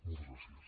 moltes gràcies